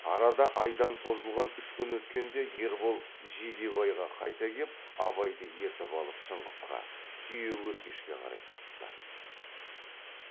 арада айдан созылған үш күн өткенде ербол жидебайға қайта кеп абайды ертіп алып шыңғысқа түйеөркешке қарай тартты